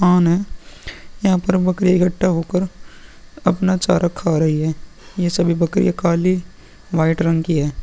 On है। यहाँ पर बकरी इक्कठा होकर अपना चारा खा रही है। ये सभी बकरियां काली व्हाइट रंग की है।